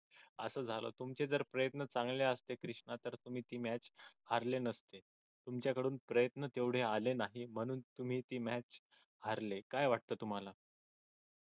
असं झालं तुमचे जर प्रयत्न चांगले असते कृष्णा तर तुम्ही ती match हारले नसते तुमच्याकडून प्रयत्न तेवढे आले नाही म्हणून तुम्ही ती match हारले. काय वाटत तुम्हाला?